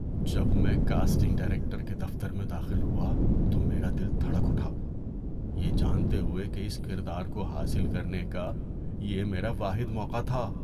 جب میں casting director کے دفتر میں داخل ہوا تو میرا دل دھڑک اٹھا، یہ جانتے ہوئے کہ اس کردار کو حاصل کرنے کا یہ میرا واحد موقع تھا۔